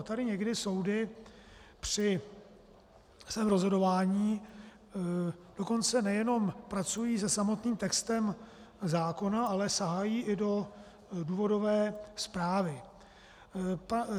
A tady někdy soudy při svém rozhodování dokonce nejenom pracují se samotným textem zákona, ale sahají i do důvodové zprávy.